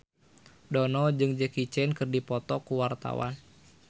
Dono jeung Jackie Chan keur dipoto ku wartawan